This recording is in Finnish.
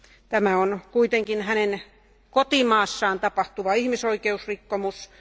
Tämä on kuitenkin hänen kotimaassaan tapahtuva ihmisoikeusrikkomus.